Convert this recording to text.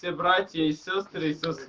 братья и сестры